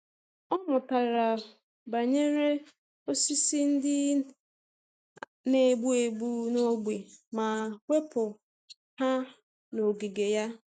Ọ mụtara banyere osisi ndị na-egbu egbu n’ógbè ma wepụ ha n’ogige ya.